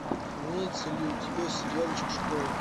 имеется ли у тебя сериальчик школа